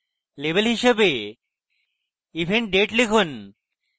label হিসাবে event date লিখুন